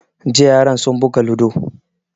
Jiya yaran sun buga ludo